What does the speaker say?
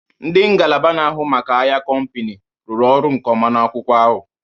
Ndị ngalaba n'ahụ maka ahịa kompani, rụrụ ọrụ nkeọma n'akwụkwọ ahu